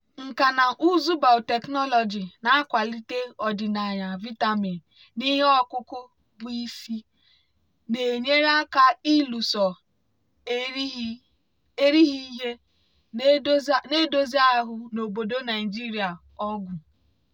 nkà na ụzụ biotechnology na-akwalite ọdịnaya vitamin n'ihe ọkụkụ bụ́ isi na-enyere aka ịlụso erighị ihe na-edozi ahụ́ n'obodo naijiria ọgụ.